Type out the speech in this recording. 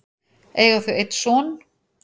eiga þau einn son.